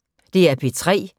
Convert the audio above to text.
DR P3